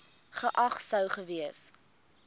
geag sou gewees